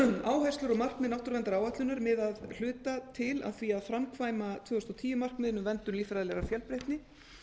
áherslur og markmið náttúruverndaráætlunar miða að hluta til að því að framkvæma tvö þúsund og tíu markmiðin um verndun líffræðilegrar fjölbreytni